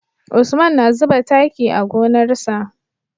Usman na zuba taki a gonar sa